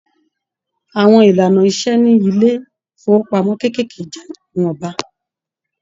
Àwọn ìlànà ìṣe ní ilé ifowopamọ kékeré jẹ ìwọnba.